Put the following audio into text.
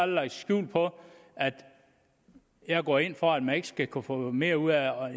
lagt skjul på at jeg går ind for at man ikke skal kunne få mere ud af